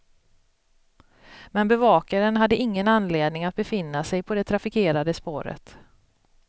Men bevakaren hade ingen anledning att befinna sig på det trafikerade spåret.